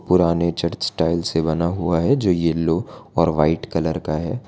पुराने church tile से बना हुआ है जो येल्लो और व्हाइट कलर का है।